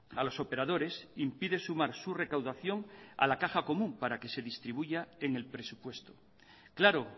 a los operadores impide sumar su recaudación a la caja común para que se distribuya en el presupuesto claro